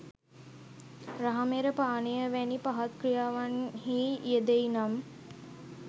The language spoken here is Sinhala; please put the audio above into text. රහමෙර පානය වැනි පහත් ක්‍රියාවන්හි යෙදෙයි නම්